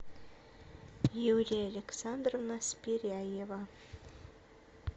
юлия александровна спиряева